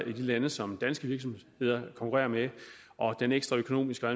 lande som danske virksomheder konkurrerer med og den ekstra økonomiske og